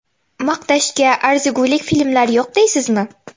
Maqtashga arzigulik filmlar yo‘q deysizmi?